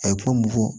A ye ko mun fɔ